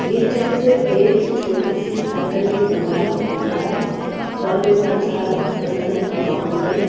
ये चित्र एक छोटी सी साइकिल की दुकान का दिख रहा है यहाँ पर बड़ा सारा कत्थाई कलर का काउंटर है।